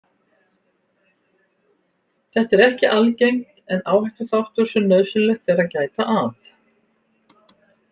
Þetta er ekki algengt en áhættuþáttur sem nauðsynlegt er að gæta að.